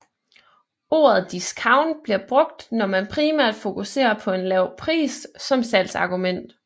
Ordet discount bliver brugt når man primært fokuserer på en lav pris som salgsargument